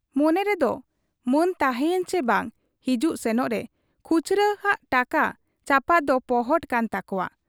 ᱢᱚᱱᱮ ᱨᱮᱫᱚ ᱢᱟᱹᱱ ᱛᱟᱦᱮᱸᱭᱮᱱ ᱪᱤ ᱵᱟᱝ, ᱦᱤᱡᱩᱜ ᱥᱮᱱᱚᱜ ᱨᱮ ᱠᱷᱩᱪᱨᱟᱹ ᱦᱟᱟᱜ ᱴᱟᱠᱟ ᱪᱟᱯᱟᱫ ᱫᱚ ᱯᱚᱦᱚᱴ ᱠᱟᱱ ᱛᱟᱠᱚᱣᱟ ᱾